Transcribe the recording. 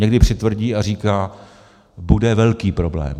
- Někdy přitvrdí a říká: Bude velký problém.